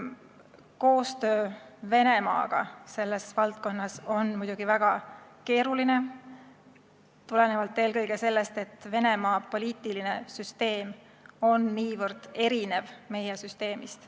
Koostöö Venemaaga selles valdkonnas on muidugi väga keeruline, tulenevalt eelkõige sellest, et Venemaa poliitiline süsteem on niivõrd erinev meie süsteemist.